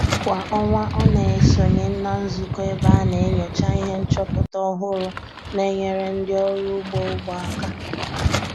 Kwa ọnwa ọ na-esonye na nzụkọ ebe a na-enyocha ihe nchọpụta ọhụrụ na-enyere ndị ọrụ ugbo ugbo aka